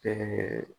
Ɛɛ